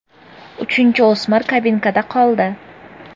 Uchinchi o‘smir kabinkada qoldi.